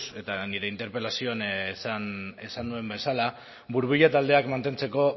eta nire interpelazioan esan nuen bezala burbuila taldeak mantentzeko